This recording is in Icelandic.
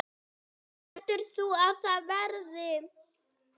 Heldur þú að það verði?